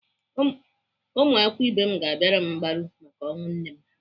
Ụmụakwụkwọ ibe m ga-abịara m mgbaru maka ọnwụ nne m.